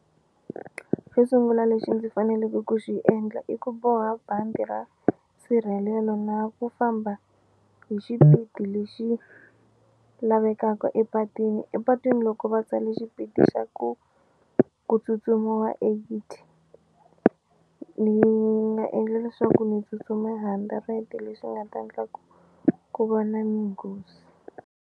Xo sungula lexi ndzi faneleke ku xi endla i ku boha bandi ra nsirhelelo na ku famba hi xipidi lexi lavekaka epatwini, epatwini loko va tsale xipidi xa ku ku tsutsumiwa eighty ni nga endla leswaku ni tsutsuma hundred leswi nga ta ndla ku ku va na minghozi.